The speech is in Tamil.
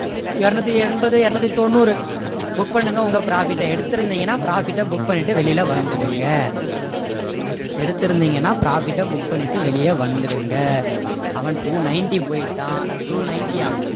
இருநூத்தி எண்பது இருநூத்தி தொண்ணூறு book பண்ணுங்க உங்க profit அ எடுத்திருந்தீங்கன்னா profit அ book பண்ணிட்டு வெளிய வந்துடுங்க எடுத்திருந்தீங்கன்னா profit ட book பண்ணிட்டு வெளிய வந்துடுங்க அவன் two ninety போயிட்டான் two ninety யா